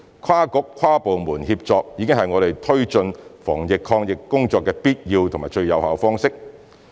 跨局、跨部門協作已經是我們推行防疫抗疫工作的必要及最有效方式。